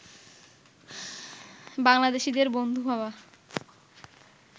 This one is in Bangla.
বাংলাদেশিদের বন্ধু ভাবা